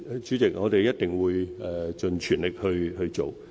主席，我們一定會盡全力去做。